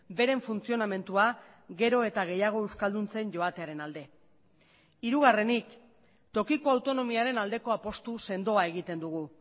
beren funtzionamendua gero eta gehiago euskalduntzen joatearen alde hirugarrenik tokiko autonomiaren aldeko apustu sendoa egiten dugu